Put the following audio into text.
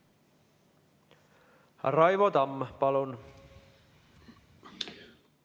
Raivo Tamm, palun!